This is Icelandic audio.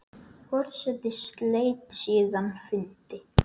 Forseti sleit síðan fundi.